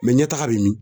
ɲɛ taga bɛ min